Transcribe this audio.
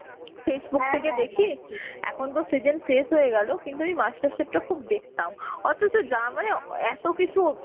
Facebook থেকে দেখি. এখন তো seasson শেষ হয়ে গেলো. কিন্তু আমি master chef টা খুব দেখতাম. অথছ যা মানে এ এত্তো কিছু